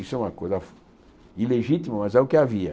Isso é uma coisa ilegítima, mas é o que havia.